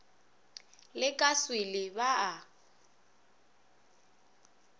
le ka swele ba a